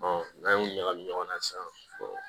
n'an y'o ɲagami ɲɔgɔn na sisan